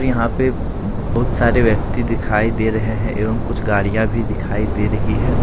यहां पे बहुत सारे व्यक्ति दिखाई दे रहे हैं एवं कुछ गाड़ियां भी दिखाई दे रही हैं।